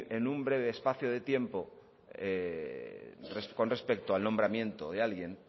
en un breve espacio de tiempo con respecto al nombramiento de alguien